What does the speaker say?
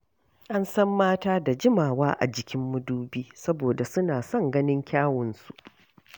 An san mata da jimawa a jikin madubi saboda suna son ganin kyawunsu.